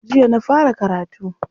Jiya na fara karatu.